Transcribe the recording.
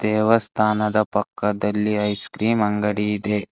ದೇವಸ್ಥಾನದ ಪಕ್ಕದಲ್ಲಿ ice cream ಅಂಗಡಿ ಇದೆ.